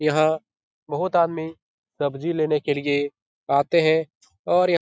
यहाँ बहुत आदमी सब्जी लेने के लिए आते हैं और य --